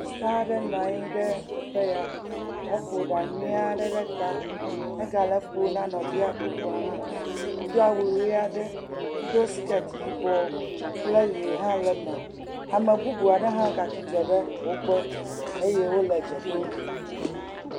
Sista aɖe nɔ anyi ɖe teƒe ya. Eƒo ɖa nyui aɖe ɖe ta. Egale eƒom na nɔvia bubu hã. Edo awu ʋi aɖe. Edo skirt yibɔ kple ʋi hã le eme. Ame bubu aɖe hã gatsi atsitre ɖe wo gbɔ eye wole dze ɖom.